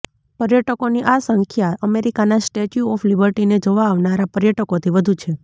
પર્યટકોની આ સંખ્યા અમેરિકાના સ્ટેચ્યુ ઓફ લિબર્ટીને જોવા આવનારા પર્યટકોથી વધુ છે